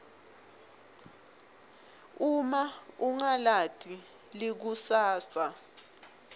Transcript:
uma ungalati likusasa